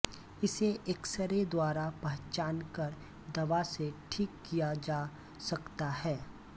इसे एक्सरे द्वारा पहचानकर दवा से ठीक किया जा सकता है